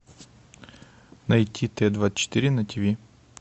найти т двадцать четыре на тв